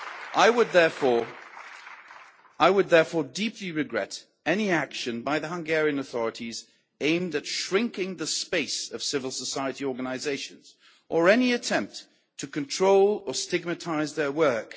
I would therefore deeply regret any action by the Hungarian authorities aimed at shrinking the space of civil society organisations, or any attempt to control or stigmatise their work.